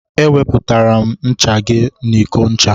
E wepụtara m ncha gị n'iko ncha.